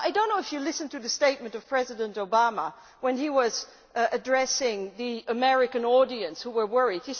Well I do not know if Members listened to the statement by President Obama when he was addressing the American audience who were worried.